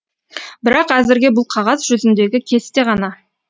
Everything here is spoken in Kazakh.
бірақ әзірге бұл қағаз жүзіндегі кесте ғана